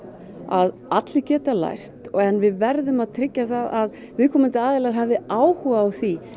að allir geta lært en við verðum að tryggja það að viðkomandi aðilar hafi áhuga á því